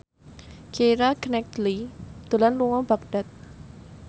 Keira Knightley lunga dhateng Baghdad